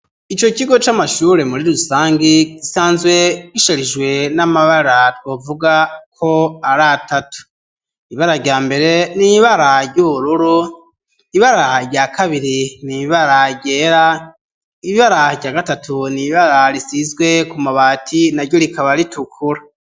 Ico kigo c'amashure muri rusange gisanzwe gisharijwe n'amabara twovuga ko ari atatu ibara rya mbere n'ibara ry'ubururu ibara rya kabiri n'ibara ryera ibara rya gatatu n'ibara risizwe ku mabati na ryo rikaba ritukura